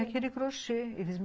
Aquele crochê.